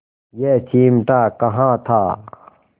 यह चिमटा कहाँ था